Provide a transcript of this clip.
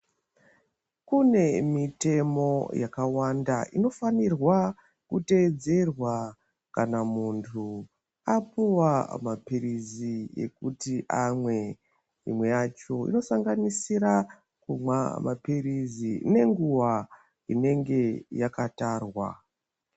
Kune mitemo yakawanda inofanirwa kuteedzerwa kana muntu apuwa maphirizi ekuti amwe. Imwe yacho inosanganisira kumwa maphirizi nenguwa inenge yaka tarwa.